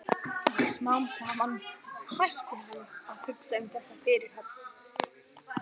Og smám saman hætti hann að hugsa um þessa fyrirhöfn.